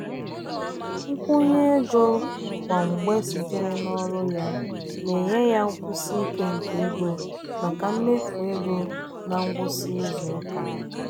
nkwụnye ego kwa mgbe sitere n'ọrụ ya na-enye ya nkwụsi ike nke ego maka mmefu ego ná ngwụsị izuụka.